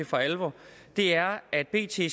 for alvor er at bt